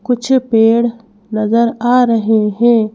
कुछ पेड़ नजर आ रहे हैं।